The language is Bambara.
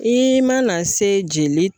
I mana se jeli